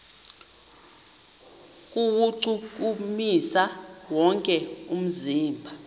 kuwuchukumisa wonke umzimba